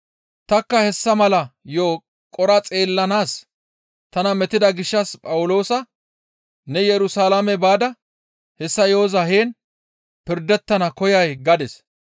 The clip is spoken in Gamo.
Tanikka hessa mala yo7o qora xeellanaas tana metida gishshas Phawuloosa, ‹Ne Yerusalaame baada hessa yo7oza heen pirdettana koyay?› gadis.